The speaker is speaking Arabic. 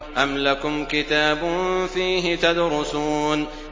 أَمْ لَكُمْ كِتَابٌ فِيهِ تَدْرُسُونَ